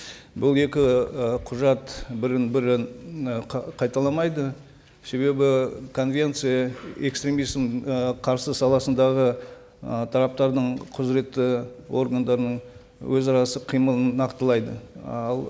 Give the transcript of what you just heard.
бұл екі і құжат бірін бірі і қайталамайды себебі конвенция экстремизм і қарсы саласындағы ы тараптардың құзыретті органдарының өзара іс қимылын нақтылайды ал